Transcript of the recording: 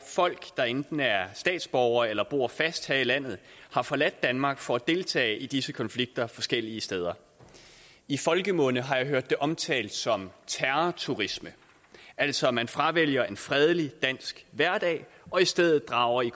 folk der enten er statsborgere eller bor fast her i landet har forladt danmark for at deltage i disse konflikter forskellige steder i folkemunde har jeg hørt det omtalt som terrorturisme altså at man fravælger en fredelig dansk hverdag og i stedet drager i